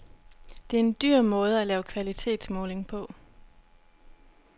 Det er en dyr måde at lave kvalitetsmåling på.